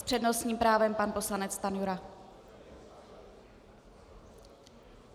S přednostním právem pan poslanec Stanjura.